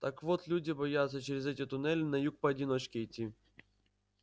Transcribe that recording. так вот люди боятся через эти туннели на юг поодиночке идти